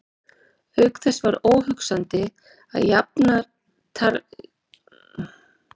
Auk þess væri óhugsandi að jafnartarlegur maður og Guðni stæði í slíku.